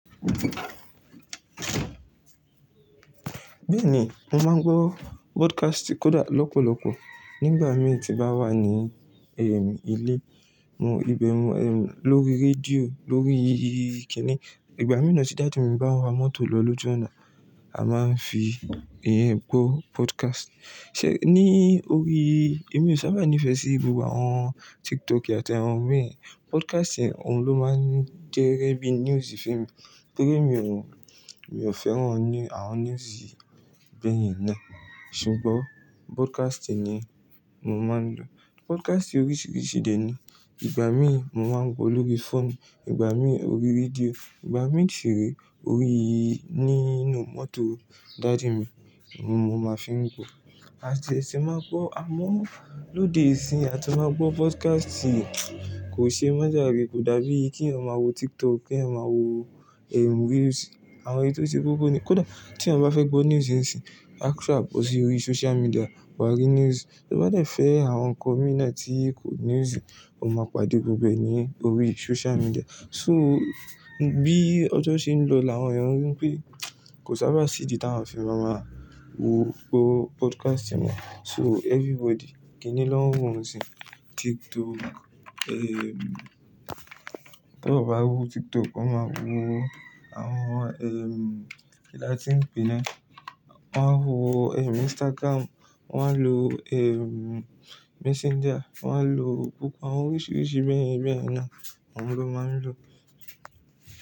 Bẹ́ẹ̀ni, mo máa ń gbọ́ broadcast kódà lọ́pọ̀lọpọ̀ nígbà mí tí n bá wà ní, ehm, ilé. Mo ibẹ̀ lórí rédíò, lórí ì kíni. Ìgbà mìí nàa tí daddy mi bá ń wa mọ́tò lọ lójú ọ̀nà, a máa ń fi ìyẹn gbọ́ podcast. Ṣé ní orí, èmi ò sábà ní ìfẹ́ sí gbogbo àwọn TikTok àti àwọn bẹ́yẹn. Podcast òun ló máa ń jẹ́ gẹ́gẹ́ bí news fún èmi, torí èmi ò, èmi ò fẹ́ràn àwọn news bẹ́yẹn náà. Ṣùgbọ́n broadcasting ni mo máa ń lò. Broadcasting oríṣiríṣi dẹ ni. Ìgbà mí mo máa ń gbọ́ lórí fóònù, ìgbà mí orí rédíò, ìgbà mí ṣiré orí nínú mọ́tò daddy mi, ni mo máa fi ń wo. À ti ẹ ṣe máa gbọ́ amó lóde ìsìnyi àti máa gbọ́ podcast kò ṣe mọ́ jàre kò dàbí kí èèyàn máa wo TikTok, kí èèyàn máa wo, ehm, reels, àwọn èyí tò ṣe kókó ni. Kódà tí èèyàn bá fẹ́ gbọ́ news nsinyì, a ko sa bó sì orí social media, wà á rí news. Tó bá dẹ̀ fẹ́ àwọn nǹkan mí nàa tí kò news, ó máa pàdé gbogbo ẹ̀ ní orí social media. So bí ọjọ́ ṣe ń lọ làwọn èèyàn rí pé kò sábà sí ìdí t'áwọn a fi máa máa wo gbọ́ podcast mọ́. So everybody kí ni náà n wọ́ ńṣinyí? TikTok, ehm, tán bá wo TikTok, wọ́n máa wo àwọn, ehm, kí la ti ń pè ẹ́ náà? Wọ́n a wo, ehm, Instagram, wọ́n a lo, ehm, Messenger, wọ́n á lo gbogbo àwọn oríṣiríṣi bẹ́yẹn bẹ́yẹn náà, ohun ló máa ń lò.